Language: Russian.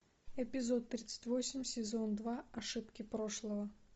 эпизод тридцать восемь сезон два ошибки прошлого